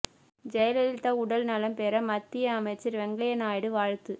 ஜெயலலிதா உடல் நலம் பெற மத்திய அமைச்சர் வெங்கையா நாயுடு வாழ்த்து